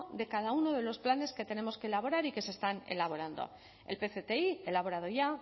de cada uno de los planes que tenemos que elaborar y que se están elaborando el pcti elaborado ya